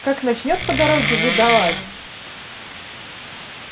как начнёт по дороге выдавать